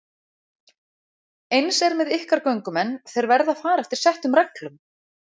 Eins er með ykkar göngumenn, þeir verða að fara eftir settum reglum.